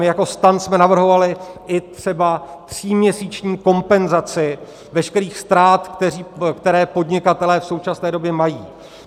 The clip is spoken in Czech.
My jako STAN jsme navrhovali i třeba tříměsíční kompenzaci veškerých ztrát, které podnikatelé v současné době mají.